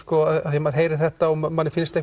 því maður heyrir þetta og manni finnst